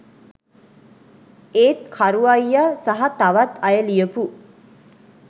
ඒත් කරු අයිය සහ තවත් අය ලියපු